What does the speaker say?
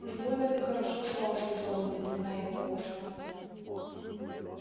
уж больно ты хорошо спал сказал он поднимая его ото сна